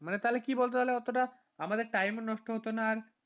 মানে তাহলে কি বলতো অতটা আমাদের time নষ্ট হতোনা